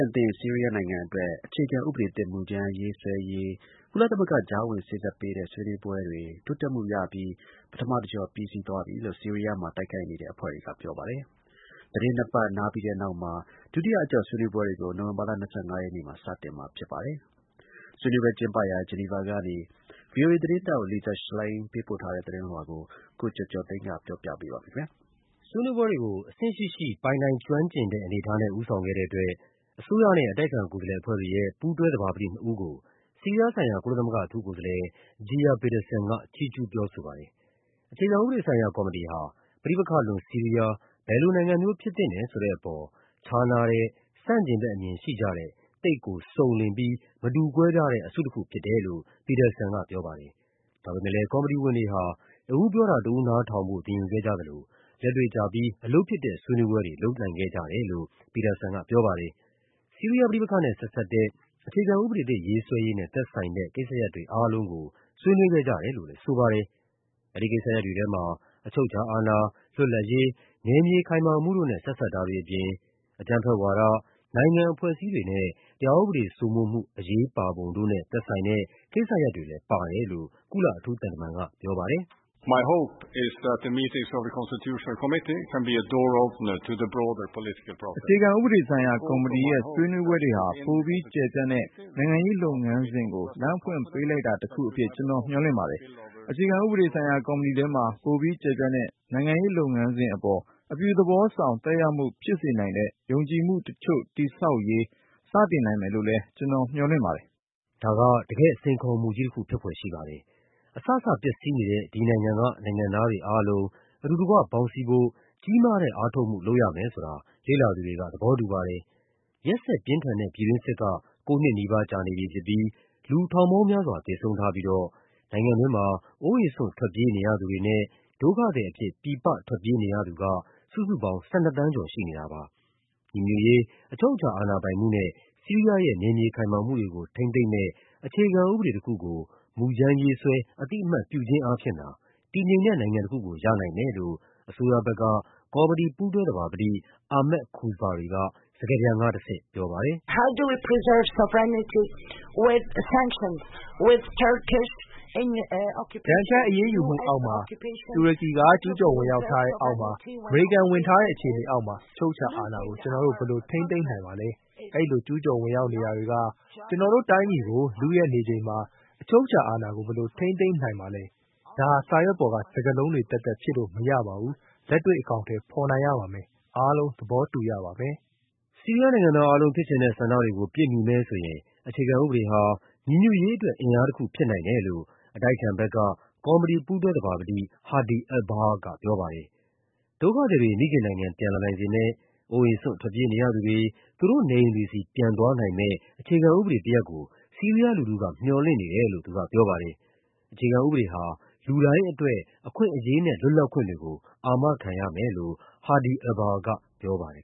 ဏ်သင့် ဆီးရီးယားနိုင်ငံအတွက် အခြေခံဥပဒေသစ် မူူကြမ်းရေးဆွဲရေး ကုလသမဂ္ဂ ကြားဝင်စေ့စပ်ပေးတဲ့ ဆွေးနွေးပွဲတွေ တိုးတက်မှုရပြီး အဆုံးသတ်သွားတယ်လို့ ဆီးရီးယားမှာ တိုက်ခိုက်နေတဲ့အဖွဲ့တွေက ပြောပါတယ်။ သီတင်း နှစ်ပတ်နားပြီးတဲ့နောက် ဒုတိယအကျော့ ဆွေးနွေးပွဲတွေကို နိုဝင်ဘာလ ၂၅ ရက်နေ့ စတင်မှာဖြစ်ပါတယ်။ ဆွေးနွေးပွဲကျင်းပရာ ဂျီနီဗာကနေ ဗွီအိုအေသတင်းထောက် Lisa Schlein ပေးပို့တဲ့သတင်းလွှာကို ကိုကျော်ကျော်သိန်းက ပြောပြပါမယ်။ ဆွေးနွေးပွဲတွေကို အဆင့်ရှိရှိ ပိုင်နိုင်ကျွမ်းကျင်တဲ့ အနေအထားနဲ့ ဦးဆောင်ခဲ့တဲ့အတွက် အစိုးရနဲ့ အတိုက်အခံ ကိုယ်စားလှယ်အဖွဲ့တွေရဲ့ ပူးတွဲသဘာပတိနှစ်ဦးကို ဆီးရီးယားဆိုင်ရာ ကုလသမဂ္ဂ အထူးကိုယ်စားလှယ် Geir Pedersen က ချီးကျူးပြောဆိုပါတယ်။ အခြေခံဥပဒေဆိုင်ရာ ကော်မတီဟာ ပဋိပက္ခလွန် ဆီးရီးယား ဘယ်လိုနိုင်ငံမျိုး ဖြစ်သင့်တယ်ဆိုတဲ့အပေါ် ခြားနားတဲ့ ဆန့်ကျင်ဘက်အမြင်ရှိကြတဲ့ သိပ်ကို စုံလင်ပြီး မတူကွဲပြားတဲ့ အစုတခုဖြစ်တယ်လို့ Pedersen ကပြောပါတယ်။ ဒါပေမယ့် ကော်မတီဝင်တွေဟာ တဦးပြောတာ တဦးနားထောင်ဖို့ သင်ယူခဲ့ကြသလို လက်တွေ့ကျပြီး အလုပ်ဖြစ်တဲ့ ဆွေးနွေးပွဲ တွေ လုပ်နိုင်ခဲ့ကြတယ်လို့ Pedersen ကပြောပါတယ်။ ဆီးရီးယားပဋိပက္ခနဲ့ ဆက်စပ်တဲ့၊ အခြေခံဥပဒေသစ် ရေးဆွဲရေးနဲ့ သက်ဆိုင်တဲ့ ကိစ္စရပ်တွေအားလုံးကို ဆွေးနွေး ခဲ့ကြတယ်လို့လည်းဆိုပါတယ်။ အဲဒီကိစ္စရပ်တွေထဲမှာ အချုပ်အခြာအာဏာ၊ လွတ်လပ်ရေး၊ နယ်မြေခိုင်မာမှုတို့နဲ့ ဆက်စပ်တာတွေ အပြင် အကြမ်းဖက်ဝါဒ၊ နိုင်ငံ အဖွဲ့အစည်းတွေနဲ့ တရားဥပဒေစိုးမိုးမှု အရေးပါပုံတို့နဲ့ သက်ဆိုင်တဲ့ကိစ္စရပ်တွေလည်းပါတယ်လို့ ကုလအထူးသံတမန်က ပြောပါ တယ်။ “အခြေခံဥပဒေဆိုင်ရာကော်မတီရဲ့ ဆွေးနွေးပွဲတွေဟာ ပိုပြီးကျယ်ပြန့်တဲ့ နိုင်ငံရေးလုပ်ငန်းစဉ်ကို လမ်းဖွင့်ပေးလိုက် တာတခုအဖြစ် ကျနော်မျှော်လင့်ပါတယ်။ အခြေခံဥပဒေဆိုင်ရာကော်မတီထဲမှာ ပိုပြီးကျယ်ပြန့်တဲ့ နိုင်ငံရေးလုပ်ငန်းစဉ်အပေါ် အပြုသဘောဆောင် သက်ရောက်မှုဖြစ်စေနိုင်တဲ့ ယုံကြည်မှုတချိုု့တည်ဆောက်ရေး စတင်နိုင်မယ်လို့လည်း ကျနော်မျှော်လင့်ပါ တယ်။” ဒါက တကယ့် စိန်ခေါ်မှုကြီးတခု ဖြစ်ဖွယ်ရှိပါတယ်။ အစစပျက်စီးနေတဲ့ ဒီနိုင်ငံက နိုင်ငံသားတွေ အားလုံးအတူတကွ ပေါင်းစည်း ဖို့ ကြီးမားတဲ့ အားထုတ်မှုလုပ်ရမယ်ဆိုတာ လေ့လာသူတွေက သဘောတူပါတယ်။ ရက်စက်ပြင်းထန်တဲ့ ပြည်တွင်းစစ်က ကိုးနှစ် နီးပါးကြာနေပြီဖြစ်ပြီး လူထောင်ပေါင်းများစွာ သေဆုံးထားပြိးတော့ နိုင်ငံတွင်းမှာ အိုးအိမ်စွန့်ထွက်ပြေးနေရသူတွေနဲ့ ဒုက္ခသည် အဖြစ် ပြည်ပထွက်ပြေးနေရသူက စုစုပေါင်း ၁၂ သန်းကျော်ရှိနေတာပါ။ ညီညွတ်ရေး၊ အချုပ်အခြာအာဏာပိုင်မှုနဲ့ ဆီးရီးယားရဲ့ နယ်မြေခိုင်မာမှုတွေကို ထိန်းသိမ်းမယ့် အခြေခံဥပဒေတခုကို မူကြမ်းရေး ဆွဲ အသိအမှတ်ပြုခြင်းအားဖြင့်သာ တည်ငြိမ်တဲ့နိုင်ငံတခုကို ရနိုင်မယ်လို့ အစိုးရဘက်က ကော်မတီပူးတွဲသဘာပတိ Ahmad Kuzbari က စကားပြန်ကတဆင့်ပြောပါတယ်။ “ဒဏ်ခတ်အရေးယူမှုအောက်မှာ၊ တူရကီက ကျူးကျော်ဝင်ရောက်ထားတဲ့အောက်မှာ၊ အမေရိကန် ဝင်ထားတဲ့ အခြေအနေအောက်မှာ အချုပ်အခြာအာဏာကို ကျနော်တို့ ဘယ်လိုထိန်းသိမ်းနိုင်မှာပါလဲ။ အဲဒီလိုကျူးကျော်ဝင်ရောက်နေတာ တွေက ကျနော်တို့တိုင်းပြည်ကို လုယက်နေချိန်မှာ အချုပ်အခြာ အာဏာကို ဘယ်လိုထိန်းသိမ်းနိုင်မှာပါလဲ။ ဒါဟာ စာရွက်ပေါ်က စကားလုံးတွေသက်သက် ဖြစ်လို့မရပါဘူး။ လက်တွေ့ အကောင်အထည်ဖော်နိုင်ရပါမယ်။ အားလုံး သဘောတူရပါမယ်။” ဆီးရီးယားနိုင်ငံသားအားလုံး ဖြစ်ချင်တဲ့ဆန္ဒတွေကို ပြည့်မီမယ်ဆိုရင် အခြေခံဥပဒေဟာ ညီညွတ်ရေးအတွက် အင်အားတခု ဖြစ်နိုင်တယ်လို့ အတိုက်အခံဘက်က ကော်မတီပူးတွဲသဘာပတိ Hadi Albahra ကပြောပါတယ်။ ဒုက္ခသည်တွေ မိခင်နိုင်ငံ ပြန်လာနိုင်စေမယ့်၊ အိုးအိမ်စွန့် ထွက်ပြေးနေရသူတွေ သူတို့နေအိမ်တွေဆီ ပြန်သွားနိုင်မယ့် အခြေခံ ဥပဒေတရပ်ကို ဆီးရီးယားလူထုက မျှော်လင့်နေတယ်လို့ သူကပြောပါတယ်။ အခြေခံဥပဒေဟာ လူတိုင်းအတွက် အခွင့်အရေးနဲ့ လွတ်လပ်ခွင်တွေကို အာမခံရမယ်လို့ Hadi Albahra ကပြောပါတယ်